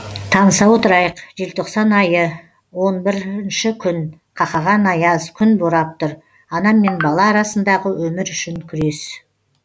таныса отырайық желтоқсан айы он бірінші күн қақаған аяз күн борап тұр ана мен бала арасындағы өмір үшін күрес